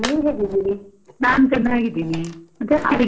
ನಾನ್ ಚೆನ್ನಾಗಿದ್ದೀನಿ, ಮತ್ತೆ ಅಡಿಗೆ ಎಲ್ಲಾ ಆಗ್ ಹೊಯ್ತಾ?